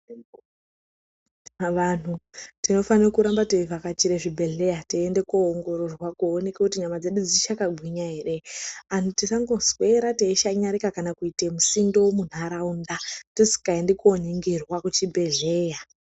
Vanhu tinofana kuramba teivhakachire zvibhedhlera teiende koongororwa kuoneke kuti nyama dzedu dzichakagwinya ere. Anhu tisangoswera teishanyarika kana kuite musindo munharaunda tisingaendi koningirwa kuzvibhadhlera.